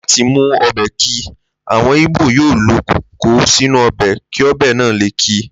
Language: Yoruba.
Láti mú o̩bè̩ ki, àwo̩n Ìgbò yóò lo̩ kókò sínú o̩bè̩ kí o̩bè náà lè ki